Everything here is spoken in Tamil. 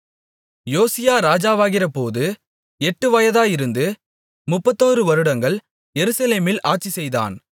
யோசியா ராஜாவாகிறபோது எட்டு வயதாயிருந்து முப்பத்தொரு வருடங்கள் எருசலேமில் ஆட்சிசெய்தான்